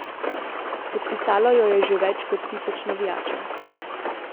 Podpisalo jo je že več kot tisoč navijačev.